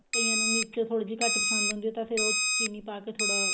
ਕਈਆਂ ਨੂੰ ਮਿਰਚ ਥੋੜੀ ਜੀ ਘੱਟ ਪਸੰਦ ਹੁੰਦੀ ਆ ਤਾਂ ਫਿਰ ਉਹ ਚੀਨੀ ਪਾਕੇ ਥੋੜਾ